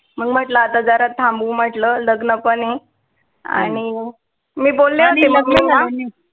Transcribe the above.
मग म्हटलं जरा थांबू म्हटलं, लग्न पण ए आणि मी बोलले होते mummy ला